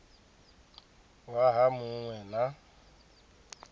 waha mu ṅ we na